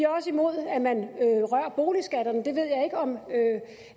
også imod at man rører boligskatterne